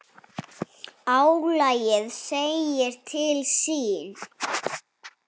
Álagið segir til sín.